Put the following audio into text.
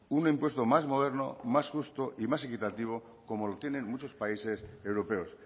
un impuesto más moderno más justo y más equitativo como lo tienen muchos países europeos